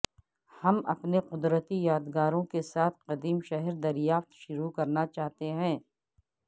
ہم اپنے قدرتی یادگاروں کے ساتھ قدیم شہر دریافت شروع کرنا چاہتے ہیں